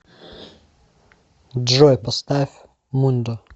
джой поставь мундо